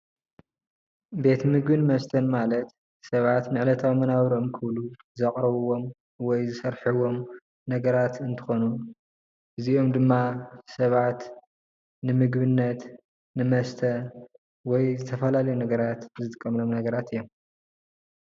ቤት ምግብን መስተን ማለት ሰባት ንዕለታዊ መናብብሮኦም ክብሉ ዘቅርብዎም ወይ ዝሰርሕዎም ነገራት እንትኮኑ እዚኦም ድማ ሰባት ንምግብነት ንመስተ ወይ ዝተፈላለዩ ነገራት ዝጥቀምሎም ነገራት እዮም።